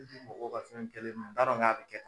mɔgɔw ka fɛn kɛlen do n t'a dɔn k'a bɛ kɛ.